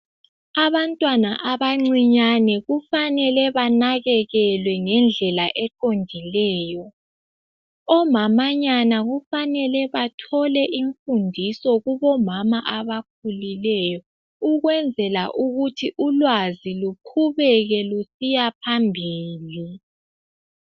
Abantwana abancinyane kufanele banakekelwe ngendlela eqondileyo, omamanyana kufanele bathole imfundisi kubo mama abakhulileyo, ukwenzela ukuthi ulwazi luqhubeke lusiya phambili.